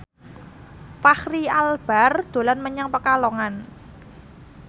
Fachri Albar dolan menyang Pekalongan